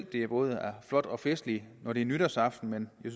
det er både flot og festligt når det er nytårsaften men jeg